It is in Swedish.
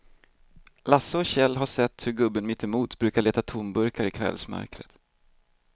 Lasse och Kjell har sett hur gubben mittemot brukar leta tomburkar i kvällsmörkret.